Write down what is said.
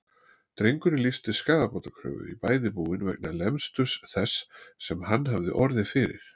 Drengurinn lýsti skaðabótakröfu í bæði búin vegna lemsturs þess sem hann hafði orðið fyrir.